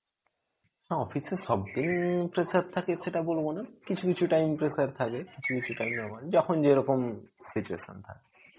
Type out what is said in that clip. না, office এ সবদিন pressure থাকে সেটা বলবো না. কিছু কিছু time pressure থাকে যখন যেরকম situation থাকে.